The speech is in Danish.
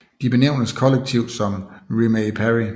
De benævnes kollektivt som Rimae Parry